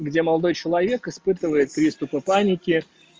где молодой человек испытывает приступы паники